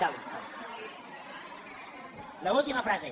l’última frase